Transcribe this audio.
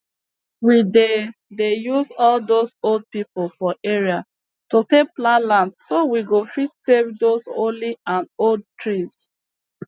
we dey dey use all dose old pipu for area to take plan land so we go fit save those holy and old trees